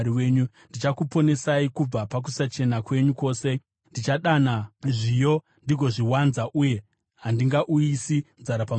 Ndichakuponesai kubva pakusachena kwenyu kwose. Ndichadana zviyo ndigozviwanza uye handingauyisi nzara pamusoro penyu.